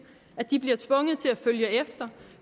at de bliver tvunget til at følge efter